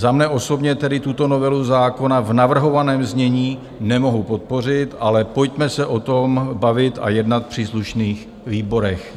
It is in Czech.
Za mne osobně tedy tuto novelu zákona v navrhovaném znění nemohu podpořit, ale pojďme se o tom bavit a jednat v příslušných výborech.